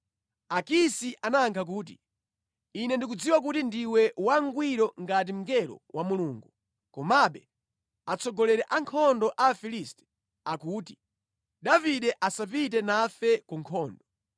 Akisi anayankha kuti, “Ine ndikudziwa kuti ndiwe wangwiro ngati mngelo wa Mulungu. Komabe atsogoleri a ankhondo a Afilisti akuti, ‘Davide asapite nafe ku nkhondo.’